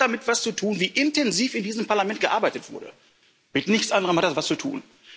Es hat damit zu tun, wie intensiv in diesem Parlament gearbeitet wurde mit nichts anderem hat es zu tun.